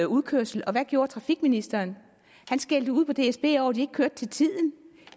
udkørsel hvad gjorde trafikministeren han skældte ud på dsb over at de ikke kørte til tiden